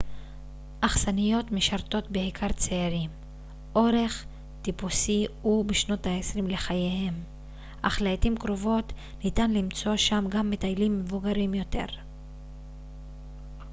אכסניות משרתות בעיקר צעירים אורח טיפוסי הוא בשנות העשרים לחייהם אך לעתים קרובות ניתן למצוא שם גם מטיילים מבוגרים יותר